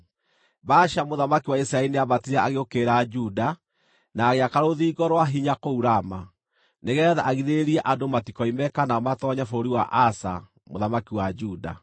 Baasha mũthamaki wa Isiraeli nĩambatire agĩũkĩrĩra Juda na agĩaka rũthingo rwa hinya kũu Rama, nĩgeetha agirĩrĩrie andũ matikoime kana matoonye bũrũri wa Asa mũthamaki wa Juda.